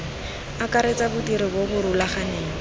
akaretsa bodiri bo bo rulaganeng